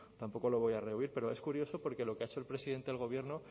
tampoco lo voy a rehuir pero es curioso porque lo que ha hecho el presidente del gobierno